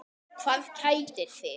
Hvað kætir þig?